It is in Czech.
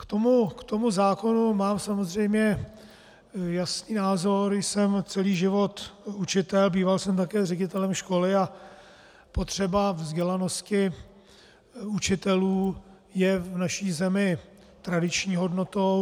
K tomu zákonu mám samozřejmě jasný názor, jsem celý život učitel, býval jsem také ředitelem školy a potřeba vzdělanosti učitelů je v naší zemi tradiční hodnotou.